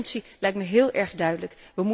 De urgentie lijkt me heel erg duidelijk.